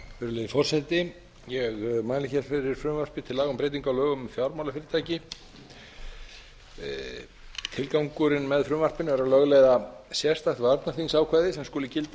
virðulegi forseti ég mæli hér fyrir frumvarpi til laga um breytingu á lögum um fjármálafyrirtæki tilgangurinn með frumvarpinu er að lögleiða sérstakt sérstakt varnarþingsákvæði sem skuli gilda um